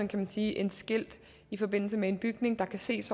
kan man sige at et skilt i forbindelse med en bygning der kan ses